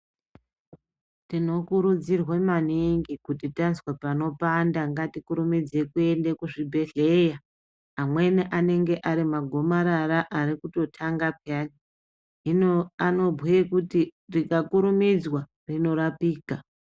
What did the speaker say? Tinokurudzirwa maningi kuti tazwa panopanda ngatikurumidze kuenda kuzvibhedhlera amweni anenge ari magomarara ari kutotanga pheyani , hino anobhuye kuti rikakurumidzwa rinorapika .